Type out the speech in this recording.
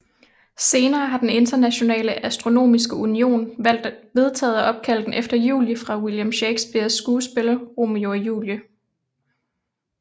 Senere har den Internationale Astronomiske Union vedtaget at opkalde den efter Julie fra William Shakespeares skuespil Romeo og Julie